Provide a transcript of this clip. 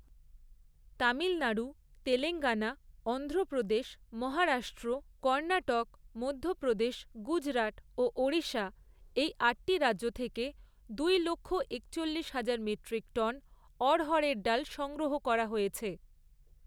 তামিলনাড়ু, তেলেঙ্গানা, অন্ধ্রপ্রদেশ, মহারাষ্ট্র, কর্ণাটক, মধ্যপ্রদেশ, গুজরাট ও ওড়িশা এই আটটি রাজ্য থেকে দুই লক্ষ একচল্লিশ হাজার মেট্রিক টন অড়হরের ডাল সংগ্রহ করা হয়েছে।